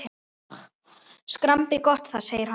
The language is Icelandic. Skrambi gott það! segir hann.